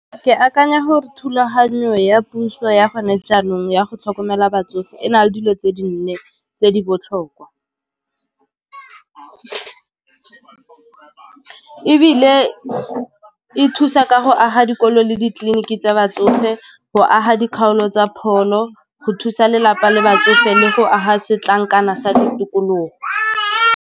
Ke akanya gore thulaganyo ya puso ya gone jaanong ya go tlhokomela batsofe e na le dilo tse di nne tse di botlhokwa, ebile e thusa ka go aga dikolo le ditleliniki tsa batsofe go aga dikgaolo tsa pholo go thusa lelapa le batsofe le go aga setlankana sa ditokologo.